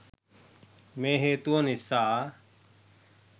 මේ හේතුව නිසා